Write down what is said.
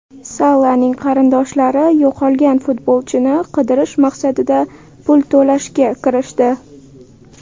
Salaning qarindoshlari yo‘qolgan futbolchini qidirish maqsadida pul to‘plashga kirishdi.